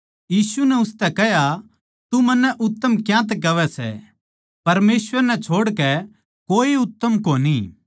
यीशु नै उसतै कह्या तू मन्नै उत्तम क्यांतै कहवै सै परमेसवर नै छोड़कै कोए उत्तम कोनी